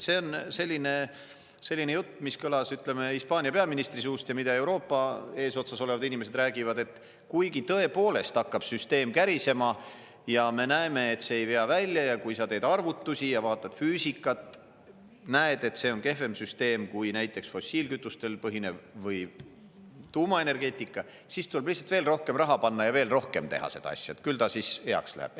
See on selline jutt, mis kõlas, ütleme, Hispaania peaministri suust ja mida Euroopa eesotsas olevad inimesed räägivad, et kuigi tõepoolest hakkab süsteem kärisema ja me näeme, et see ei vea välja ja kui sa teed arvutusi ja vaatad füüsikat, näed, et see on kehvem süsteem kui näiteks fossiilkütustel põhinev võib tuumaenergeetika, siis tuleb lihtsalt veel rohkem raha panna ja veel rohkem teha seda asja, küll ta heaks läheb.